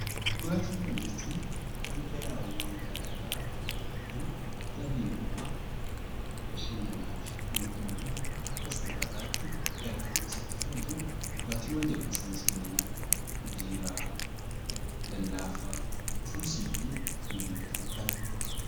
Dhugaatiiwwannjechuun dhangalaa'awwan gara garaa kan dhalli namaa bashannanaaf yookiin immoo akka soorataa tti gara qaama isaatti fudhatu 'Dhugaatiiwwan' jedhama. Isaanis kanneen akka Biiraa, Lallaafaa, Juusii fi kanneen kana fakkaatan.